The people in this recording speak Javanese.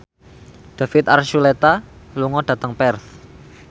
David Archuletta lunga dhateng Perth